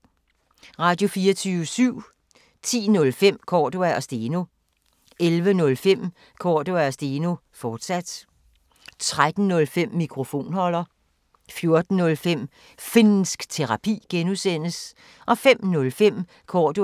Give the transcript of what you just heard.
Radio24syv